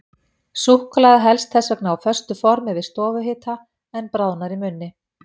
Súkkulaði helst þess vegna á föstu formi við stofuhita, en bráðnar í munni.